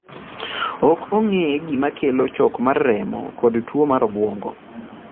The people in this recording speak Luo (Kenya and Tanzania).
Ok ong'e gima kelo chok mar remo kod tuwo mar obwongo.